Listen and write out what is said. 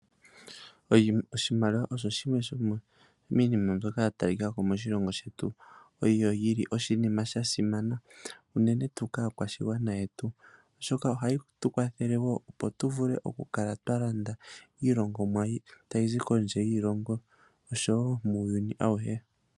Oshimaliwa osho shimwe shomiinima mbyoka ya talika ko moshilongo shetu unene tuu kaakwashigwana yetu, oshoka oha yi tu kwathele wo, opo tu vule oku kala twa landa iilongomwa yetu ta yi zi kondje yiilongo, osho wo muuyuni auhe.